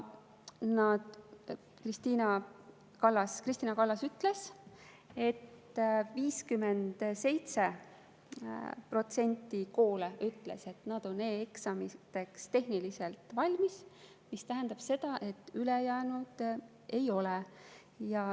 Kristina Kallas ütles, et 57% koole ütles, et nad on e‑eksamiteks tehniliselt valmis, mis tähendab seda, et ülejäänud ei ole.